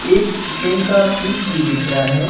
एक चिकन का पीस भी दिख रहा हैं।